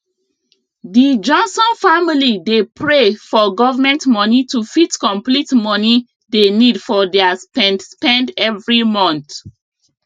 di johnson family dey pray for government money to fit complete money dey need for their spend spend every month